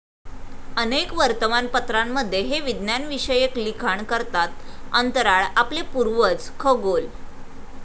अनेक वर्तमानपत्रांमध्ये हे विज्ञानविषयक लिखाण करतात अंतराळ, आपले पूर्वज, खगोल.